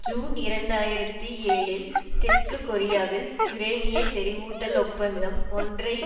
June இரண்டு ஆயிரத்தி ஏழில் தெற்கு கொரியாவில் யுரேனிய செறிவூட்டல் ஒப்பந்தம் ஒன்றை